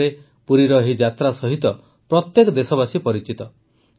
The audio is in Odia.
ଓଡ଼ିଶାରେ ପୁରୀର ଏହି ଯାତ୍ରା ସହିତ ପ୍ରତ୍ୟେକ ଦେଶବାସୀ ପରିଚିତ